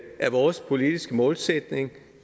er vores politiske målsætning